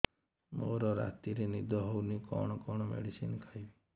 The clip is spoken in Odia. ମୋର ରାତିରେ ନିଦ ହଉନି କଣ କଣ ମେଡିସିନ ଖାଇବି